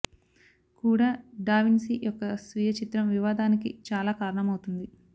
కూడా da Vinci యొక్క స్వీయ చిత్రం వివాదానికి చాలా కారణమవుతుంది